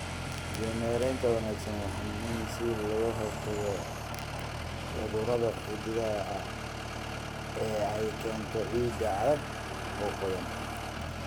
Biyo-mareenka wanaagsani waa muhiim si looga hortago cudurrada xididdada ah ee ay keento ciidda aadka u qoyan.